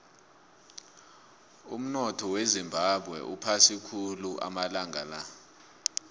umunotho wezimbabwe uphasi khulu amalanga la